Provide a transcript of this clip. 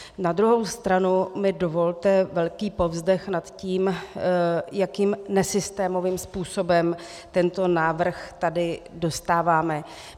Na druhou stranu mi dovolte velký povzdech nad tím, jakým nesystémovým způsobem tento návrh tady dostáváme.